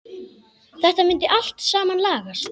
Þetta myndi allt saman lagast.